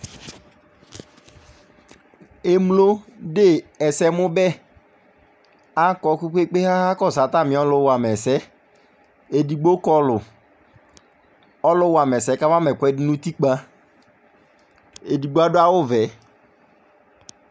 Emlo de ɛsɛmʋ bɛ, akɔ kpekpeekpe kʋ akakɔsʋ atami ɔlʋ wamɛsɛ Ɛdigbo kɔɔlʋ Ɔlʋ wama sɛ kawa ma ɛsɛdi nʋ utikpa Edigbo adʋ awʋ vɛ